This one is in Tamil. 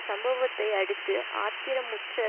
சம்பவத்தை அடுத்து ஆத்திரமுற்ற